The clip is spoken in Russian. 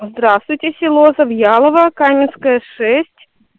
здравствуйте село завьялово каменская шесть